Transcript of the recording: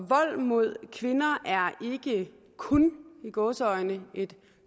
vold mod kvinder er ikke kun i gåseøjne et